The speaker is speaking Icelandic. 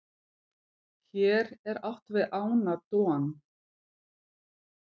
hér er átt við ána don